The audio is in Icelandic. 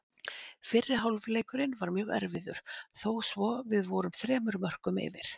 Fyrri hálfleikurinn var mjög erfiður þó svo við vorum þremur mörkum yfir.